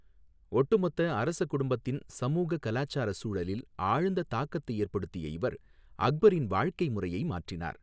ஒட்டுமொத்த அரச குடும்பத்தின் சமூக கலாச்சார சூழலில் ஆழ்ந்த தாக்கத்தை ஏற்படுத்திய இவர் அக்பரின் வாழ்க்கை முறையை மாற்றினார்.